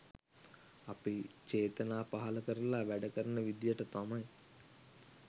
අපි චේතනා පහළ කරලා වැඩකරන විදිහට තමයි